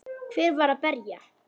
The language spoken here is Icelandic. Hver var að berja?